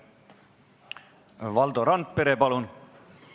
Valdo Randpere, palun!